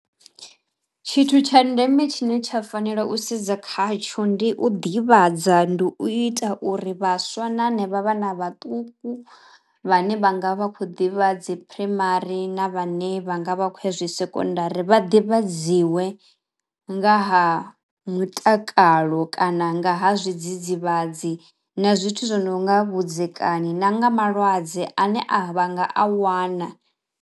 Tshithu tsha ndeme tshine tsha fanela u sedza khatsho ndi u ḓivhadza, ndi u ita uri vhaswa na hanevha vhana vhaṱuku vhane vha nga vha khou ḓivha dzi phuraimari na vhane vha nga vha khoya zwi sekondari vha ḓivhadziwa nga ha mutakalo kana nga ha zwidzidzivhadzi na zwithu zwi no nga vhudzekani na nga malwadze ane a vha nga a wana.